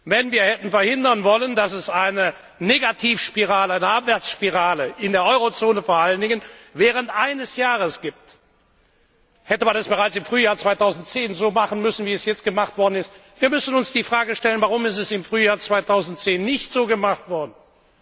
Wenn wir hätten verhindern wollen, dass es während eines Jahres eine Abwärtsspirale vor allen Dingen in der Eurozone gibt, hätte man das bereits im Frühjahr 2010 so machen müssen, wie es jetzt gemacht worden ist. Wir müssen uns die Frage stellen, warum es im Frühjahr 2010 nicht so gemacht worden ist?